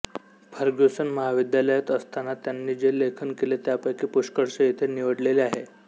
Fergusson महाविद्यालयात असताना त्यांनी जे लेखन केले त्यापैकी पुष्कळसे इथे निवडलेले आहे